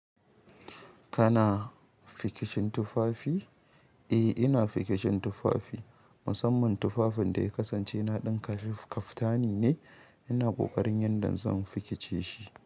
Kana fikicin tufafi? Eh, ina fikicin tufafi. Musamman tufafin da ya kasance na ɗinka shi kaftani ne. Ina ƙoƙarin yanda zan fikice shi.